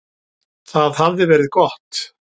Það hafði verið gott.